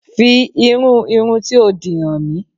Fi irú irun tí o dì hàn mí!